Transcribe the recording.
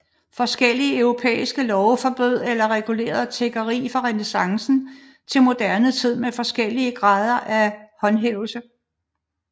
Forskellige europæiske love forbød eller regulerede tiggeri fra renæssancen til moderne tid med forskellige grad af håndhævelse